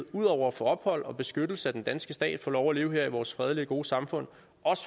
ud over at få ophold og beskyttelse af den danske stat og få lov at leve her i vores fredelige og gode samfund